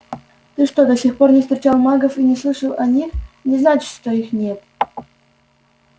то что ты до сих пор не встречал магов и не слышал о них не значит что их нет